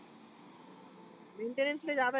mentainance लाई ज्यादा आहे.